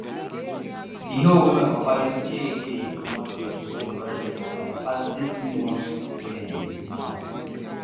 di hoe wey my papa use tey tey dey comot bed wey dem raise for cassava pass dis new ones wey dem dey do now